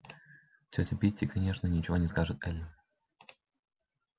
тётя питти конечно ничего не скажет эллин